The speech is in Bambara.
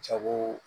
Jago